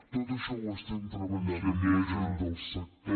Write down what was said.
tot això ho estem treballant amb la gent del sector